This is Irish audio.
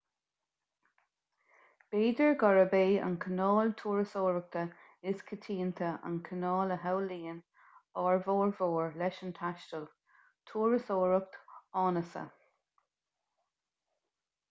b'fhéidir gurb é an cineál turasóireachta is coitianta an cineál a shamhlaíonn ár bhformhór leis an taisteal turasóireacht áineasa